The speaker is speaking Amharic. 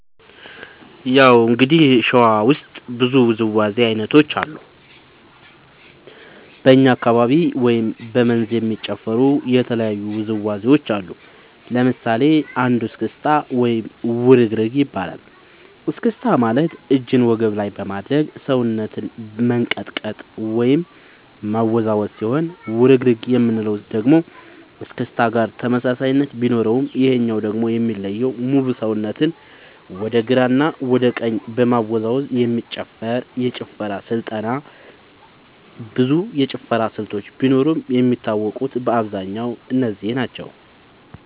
ያው እንግዲህ ሸዋ ውስጥ ብዙ ውዝዋዜ ዐይነቶች አሉ በኛ አካባቢ ወይም በ መንዝ የሚጨፈሩ የተለያዩ ውዝዋዜዎች አሉ ለምሳሌ አንዱ እስክታ ወይም ውርግርግ ይባላል እስክስታ ማለት እጅን በወገብ ላይ በማድረግ ሰውነትን መንቀጥቀጥ ወይም ማወዛወዝ ሲሆን ውርግርግ የምንለው ደግሞ እስክስታ ጋር ተመሳሳይነት ቢኖረውም ይሄኛው ደግሞ የሚለየው ሙሉ ሰውነትን ወደ ግራ እና ወደ ቀኝ በመወዛወዝ የሚጨፈር የጭፈራ ስልጠና ብዙ የጭፈራ ስልቶች ቢኖርም የሚታወቁት በአብዛኛው እነዚህ ናቸው።